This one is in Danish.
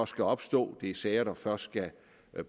skal opstå det er sager der først skal